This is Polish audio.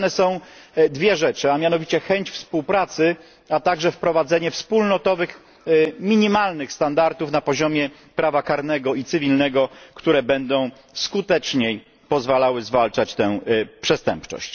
Potrzebne są dwie rzeczy, a mianowicie chęć współpracy, a także wprowadzenie wspólnotowych minimalnych standardów na poziomie prawa karnego i cywilnego, które będą skuteczniej pozwalały zwalczać tę przestępczość.